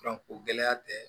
Dɔnko gɛlɛya tɛ